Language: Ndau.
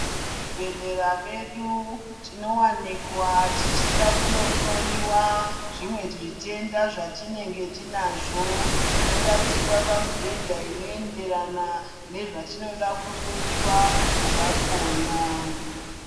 Muzvibhedhlera medu tinowanikwa tichida kunohloyiwa zvimwe zvitenda zvatinenge tinazvo tinoradzikwa pamubhedha inoenderana nezvatinoda kuhloyiwa zvakhona .